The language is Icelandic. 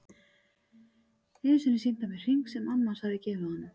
Einu sinni sýndi hann mér hring sem amma hans hafði gefið honum.